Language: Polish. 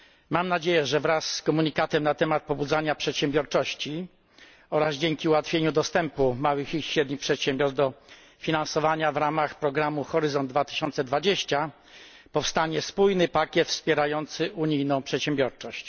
Mam nadzieję, że wraz z komunikatem na temat pobudzania przedsiębiorczości oraz dzięki ułatwieniu dostępu małych i średnich przedsiębiorstw do finansowania w ramach programu Horyzont 2020 powstanie spójny pakiet wspierający unijną przedsiębiorczość.